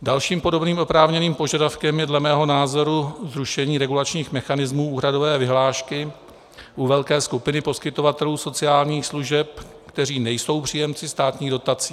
Dalším podobným oprávněným požadavkem je dle mého názoru zrušení regulačních mechanismů úhradové vyhlášky u velké skupiny poskytovatelů sociálních služeb, kteří nejsou příjemci státních dotací.